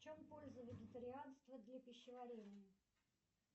в чем польза вегетарианства для пищеварения